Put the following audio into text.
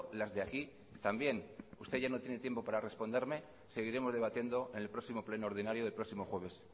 las de aquí también usted ya no tiene tiempo para responderme seguiremos debatiendo en el próximo pleno ordinario del próximo jueves